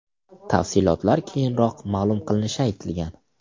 Tafsilotlar keyinroq ma’lum qilinishi aytilgan.